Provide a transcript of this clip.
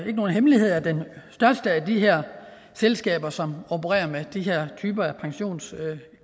ikke nogen hemmelighed at det største af de her selskaber som operer med den her type af pensionskasser